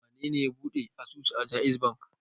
Wane ne ɓuɗe asusu da JAIZ Bankk?